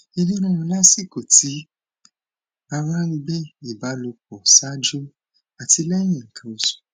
ìnu rirun lasiko ti ara n gbe ìbálòpọ ṣáájú àti lẹyìn nkan osu